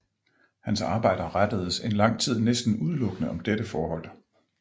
Hans arbejder rettedes en lang tid næsten udelukkende om dette forhold